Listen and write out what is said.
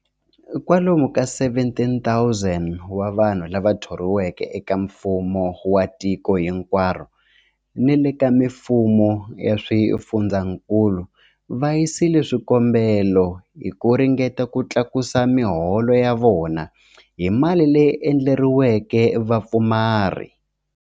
Kwalomu ka 17,000 wa vanhu lava thoriweke eka mfumo wa tiko hinkwaro ni le ka mifumo ya swifundzankulu va yisile swikombelo hi ku ringeta ku tlakusa miholo ya vona hi mali leyi endleriweke vapfumari.